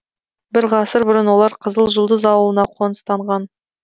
бір ғасыр бұрын олар қызыл жұлдыз ауылына қоныстанған